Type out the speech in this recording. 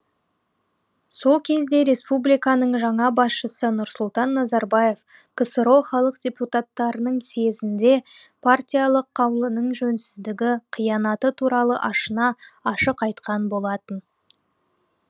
сол кезде республиканың жаңа басшысы нұрсұлтан назарбаев ксро халық депутаттарының съезінде партиялық қаулының жөнсіздігі қиянаты туралы ашына ашық айтқан болатын